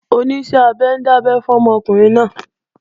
Oníṣẹ́-abẹ ń dábẹ́ fọ́mọ ọkùnrin náà